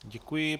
Děkuji.